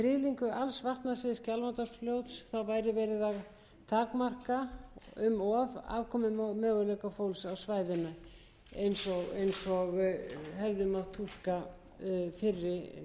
væri verið að takmarka um of afkomumöguleika fólks á svæðinu eins og hefði mátt túlka fyrri þingsályktunartillögu frá vatnajökli norðvestanverðum rennur skjálfandafljót fljótið